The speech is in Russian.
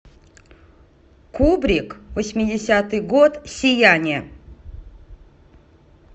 кубрик восьмидесятый год сияние